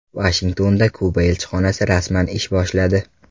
Vashingtonda Kuba elchixonasi rasman ish boshladi.